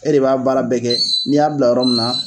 E de b'a baara bɛɛ kɛ, n'i y'a bila yɔrɔ min na.